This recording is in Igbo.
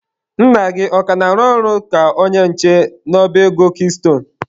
Nna gị ọ ka na-arụ ọrụ ka onye nche n'ọba ego kiistone?